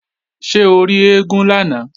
Ṣé o rí eégún lánàá?